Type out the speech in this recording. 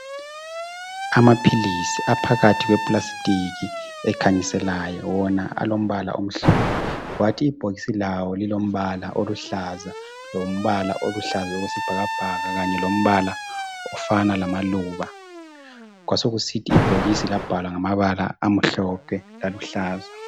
Amaphilisi aphakathi kwe plastic ekhanyiselayo .Wona alombala omhlophe .Kwathi ibhokisi lawo lilombala oluhlaza lombala oluhlaza okwesibhakabhaka kanye lombala ofana lamaluba . Kwasokusithi ibhokisi labhalwa ngamabala amhlophe laluhlaza.